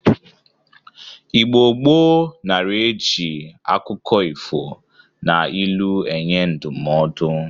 Igbo gboo nara e ji akụkọ ifo na ilu enye ndụmọdọ